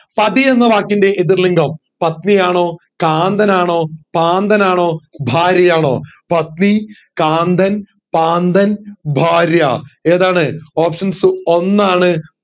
പതി എന്ന വാക്കിൻറെ എതിർ ലിംഗം പത്നി ആണോ കാന്തൻ ആണോ കാന്തൻ ആണോ ഭാര്യ ആണോ പത്നി കാന്തൻ കാന്തൻ ഭാര്യ ഏതാണ് options ഒന്നാണ്